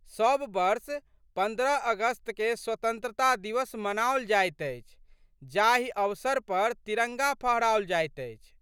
सब वर्ष पन्द्रह अगस्तकेँ स्वतंत्रता दिवस मनाओल जाइत अछि जाहि अवसर पर तिरंगा फहराओल जाइत अछि।